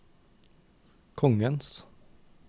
kongens